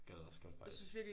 Gad også godt faktisk